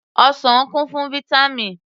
Ọsàn kún fún Vítámì